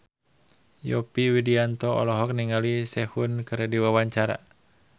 Yovie Widianto olohok ningali Sehun keur diwawancara